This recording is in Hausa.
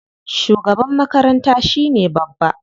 Shugaban makaranta shine babba.